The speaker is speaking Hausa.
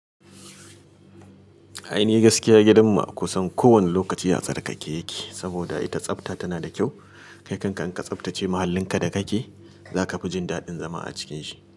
Aini gaskiya gidan mu'akusan ko wani lokaci atsar ka ke yake, saboda ita tsafta tana da kyau. Kai kanka in ka tsaftace muhallin ka da kake, zaka fi jin daɗin zama a cikin shi.